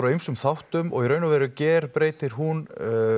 af ýmsum þáttum og í raun og veru gerbreytir hún